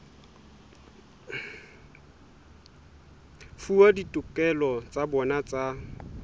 fuwa ditokelo tsa bona tsa